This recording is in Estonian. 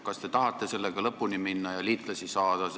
Kas te tahate sellega lõpuni minna ja liitlasi saada?